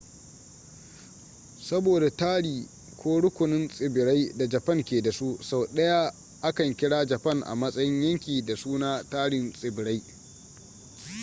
saboda tari/rukunin tsibirai da japan ke da su sau da yawa akan kira japan a matsayin yanki da suna tarin tsibirai